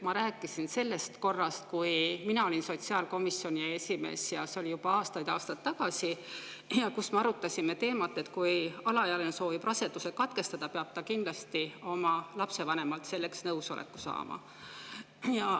Ma rääkisin sellest korrast, kui mina olin sotsiaalkomisjoni esimees – see oli juba aastaid-aastaid tagasi – ja me arutasime teemat, et kui alaealine soovib raseduse katkestada, peab ta kindlasti oma lapsevanemalt nõusoleku saama.